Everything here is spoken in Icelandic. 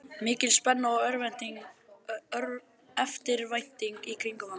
Mikil spenna og eftirvænting í kringum hana.